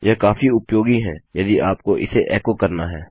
यह काफी उपयोगी है यदि आपको इसे एको करना है